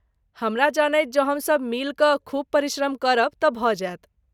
हमरा जनैत, जँ हमसब मिलि कऽ खूब परिश्रम करब तँ भऽ जायत।